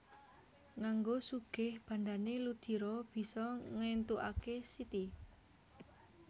Nganggo sugih bandhané Ludiro bisa ngéntukaké Siti